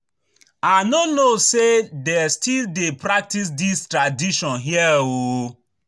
I no know say dey still dey practice dis tradition here oo